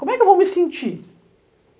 Como é que eu vou me sentir?